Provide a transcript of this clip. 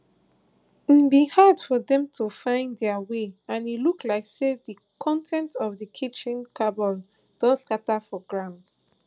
e bin hard for dem to find dia way and e look like say di con ten ts of di kitchen cupboards don scata for ground